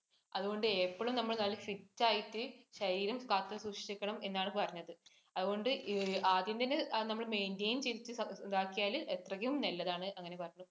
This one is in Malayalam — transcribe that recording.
അതുകൊണ്ട് എപ്പോളും നമ്മള് നല്ല fit ആയിട്ട് നമ്മള് ശരീരം കാത്തു സൂക്ഷിക്കണം എന്നാണ് പറഞ്ഞത്. അതുകൊണ്ട് ആദ്യമേന്ന് നമ്മള് maintain ചെയ്‌ത്‌ ഇതാക്കിയാൽ അത്രക്കും നല്ലതാണ് അങ്ങനെ പറഞ്ഞു.